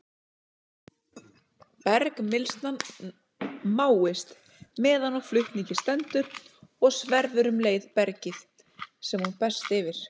Bergmylsnan máist, meðan á flutningi stendur, og sverfur um leið bergið, sem hún berst yfir.